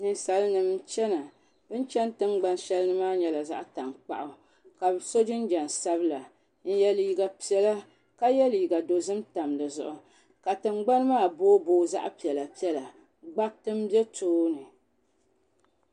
Ninsali nim chɛna bɛ ni chɛni tiŋgban shɛli maa nyɛla zaɣi tantaɣu ka bɛ so jinjɛm sabila n yɛ liiga piɛlla ka yɛ liiga dɔzim tam di zuɣu ka tiŋgbani maa booi booi zaɣi piɛlla piɛlla gbariti n bɛ tooni.